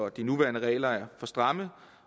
at de nuværende regler er for stramme